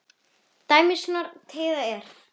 Tæmist horn þá teygað er.